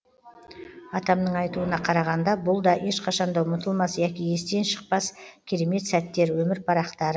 атамның айтуына қарағанда бұл да ешқашанда ұмытылмас яки естен шықпас керемет сәттер өмір парақтары